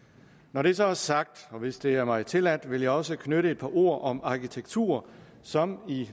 når det så er sagt og hvis det er mig tilladt vil jeg også knytte et par ord om arkitektur som i